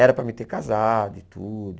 Era para me ter casado e tudo.